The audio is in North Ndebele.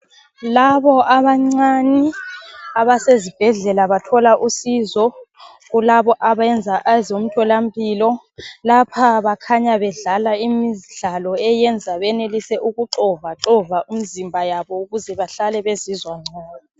Labo abancane abasezibhedlela bathola usizo kulabo abayenza ezomtholampilo. Lapha bakhanya bedlala imidlalo eyenza benelise ukuxova xova imizimba yabo ukuze bahlale bezizwa ngcono.